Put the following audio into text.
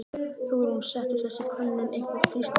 Hugrún: Setur þessi könnun einhvern þrýsting á þig?